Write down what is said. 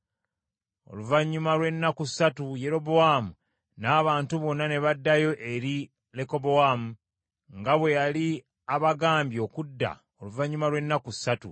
Oluvannyuma lw’ennaku ssatu, Yerobowaamu n’abantu bonna, ne baddayo eri Lekobowaamu, nga bwe yali abagambye okudda oluvannyuma lw’ennaku essatu.